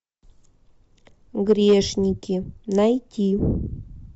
грешники найти